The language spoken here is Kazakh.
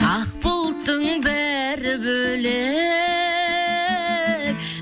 ақ бұлттың бәрі бөлек